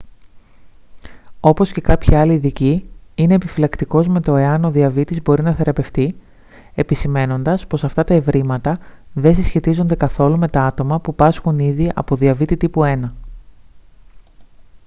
όπως και κάποιοι άλλοι ειδικοί είναι επιφυλακτικός με το εάν ο διαβήτης μπορεί να θεραπευτεί επισημαίνοντας πως αυτά τα ευρήματα δεν συσχετίζονται καθόλου με τα άτομα που πάσχουν ήδη από διαβήτη τύπου 1